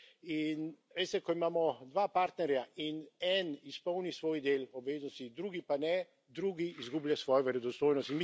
In veste, ko imamo dva partnerja in en izpolni svoj del obveznosti, drugi pa ne, drugi izgublja svojo verodostojnost.